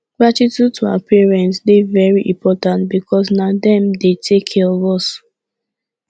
gratitude to our parents de very important because na dem de take care of us